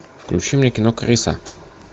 включи мне кино крыса